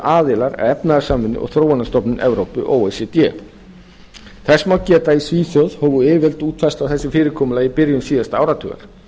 aðilar að efnahags og þróunarstofnun evrópu o e c d þess má geta að í svíþjóð hófu yfirvöld útfærslu á þessu fyrirkomulagi í byrjun síðasta áratugar